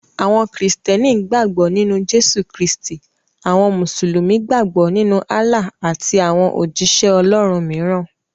Àwọn kírísítẹ́nì gbàgbọ́ nínú Jésù Kristì; àwọn musulumi gbàgbọ́ nínú Allah àti àwọn òjíṣẹ́ Ọlọ́run mìíràn.